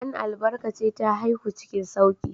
An albarkace ta haihu cikin sauƙi.